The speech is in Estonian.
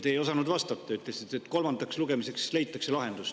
Te ei osanud vastata, ütlesite, et kolmandaks lugemiseks leitakse lahendus.